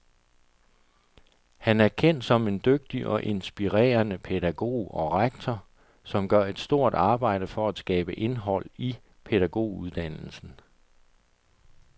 Han er kendt som en dygtig og inspirerende pædagog og rektor, som gør et stort arbejde for at skabe indhold i pædagoguddannelsen.